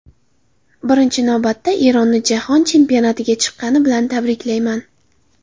Birinchi navbatda Eronni Jahon chempionatiga chiqqani bilan tabriklayman.